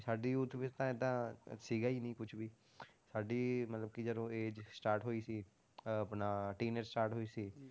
ਸਾਡੀ youth ਵਿੱਚ ਤਾਂ ਏਦਾਂ ਸੀਗਾ ਹੀ ਨੀ ਕੁਛ ਵੀ ਸਾਡੀ ਮਤਲਬ ਕਿ ਜਦੋਂ age start ਹੋਈ ਸੀ ਅਹ ਆਪਣਾ start ਹੋਈ ਸੀ